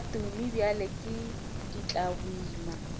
tša tumi bjale ke ditlaboima